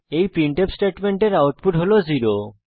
এই প্রিন্টফ স্টেটমেন্টের আউটপুট হল 0